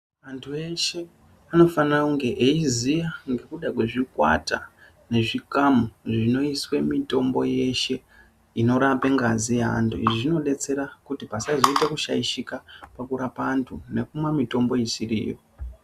Antu eshe anofana kunge eiziya ngekuda kwezvikwata nezvikamu zvinoiswe mitombo yeshe inorape ngazi yeantu. Izvi zvinodetsera kuti pasazoita kushaishika pakurapa antu nekumwa mitombo isiri iyo.